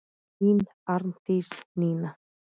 Þín Arndís Nína.